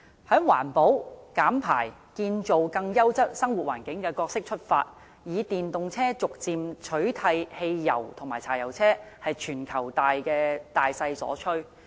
從環保、減排、建造更優質生活環境的角色出發，以電動車逐漸取替汽油和柴油車，是全球大勢所趨。